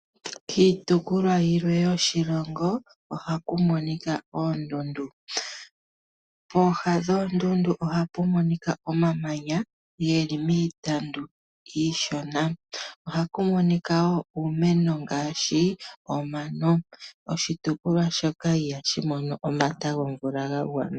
Kiitukulwa yilwe yoshilongo ohaku monika oondundu. Pooha dhoondundu ohapu monika omamanya geli miitandu iishona. Ohaku monika wo uumeno ngaashi omano . Oshitukulwa shoka ihashi mono omata gomvula ga gwana.